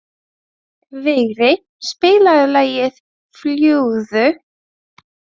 Vigri, spilaðu lagið „Fljúgðu“.